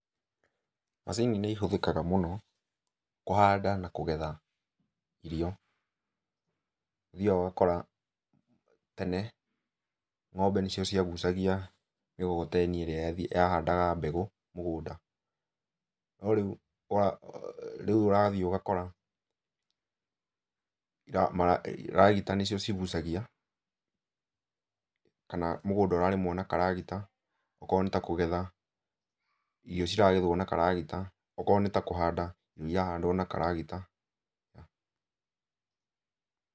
Macini nĩihũthĩkaga mũno kũhanda na kũgetha irio. Ũthiaga ũgakora, tene ng'ombe nĩcio ciagucagia mĩgogoteni ĩrĩa yahandaga mbegũ mũgũnda. No rĩu rĩu ũrathiĩ ũgakora, ragita nĩcio cigucagia kana mũgũnda ũrarĩmwo na karagita. Okorwo nĩta kũgetha, irio ciragethwo na karagita. Okorwo nĩta kũhanda irio irahandwo na karagita. Pause